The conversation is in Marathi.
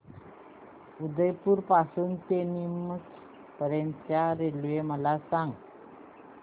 उदयपुर पासून ते नीमच पर्यंत च्या रेल्वे मला सांगा